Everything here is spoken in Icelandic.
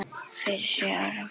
Fyrir sjö árum.